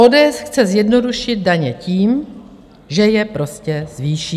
ODS chce zjednodušit daně tím, že je prostě zvýší.